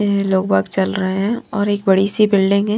लोग बाग चल रहे हैं और एक बड़ी सी बिल्डिंग है।